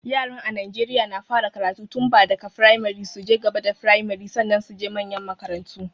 Yaran a Naijeriya na fara karatu tunbda ka firamare, su je gaba da firmare, sannan su je manyan makarantu.